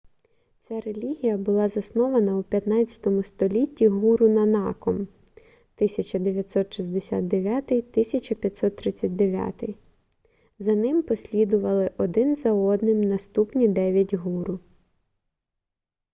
ця релігія була заснована у 15-му столітті гуру нанаком 1469–1539. за ним послідували один за одним наступні дев'ять гуру